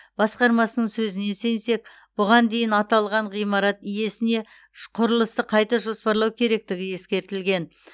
басқармасының сөзіне сенсек бұған дейін аталған ғимарат иесіне құрылысты қайта жоспарлау керектігі ескертілген